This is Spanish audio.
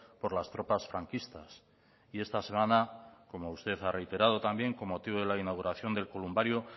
por las tropas franquistas y esta semana como usted ha reiterado también con motivo de la inauguración del columbario